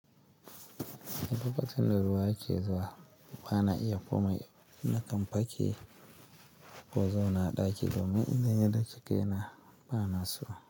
Lokacin da ruwa yake zuwa bana iya komai nakan fake na zauna daki domin idan ya dake kaina bana so.